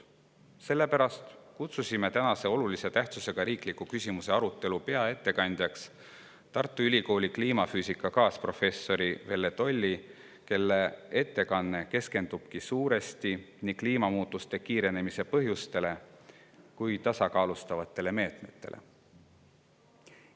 Sellepärast kutsusime tänase olulise tähtsusega riikliku küsimuse arutelu peaettekandjaks Tartu Ülikooli kliimafüüsika kaasprofessori Velle Tolli, kelle ettekanne keskendub suuresti nii kliimamuutuste kiirenemise põhjustele kui ka neid tasakaalustavatele meetmetele.